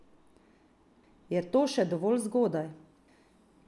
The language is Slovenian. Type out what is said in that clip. Je to še dovolj zgodaj?